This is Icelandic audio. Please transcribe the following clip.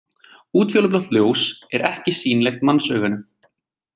Útfjólublátt ljós er ekki sýnilegt mannsauganu.